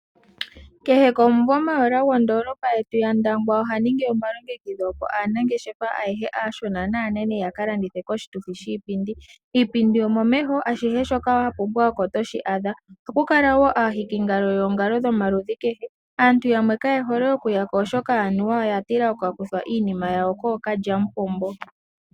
Kehe komvula mayola gondoolopa yetu yandangwa oha ningi omalongekidho opo aanangeshefa ayehe aanene naashona opo yaka landithe koshituthi shipingi. Iipindi omo meho ashihe shoka wapumbwa oko toshi adha. Ohaku kala wo aahiki ngalo yoongalo dhomaludhi kehe. Aantu yamwe Kaye hole okuyako oshoka oyatila okukakuthwa iinima yawo kookalyamupombo.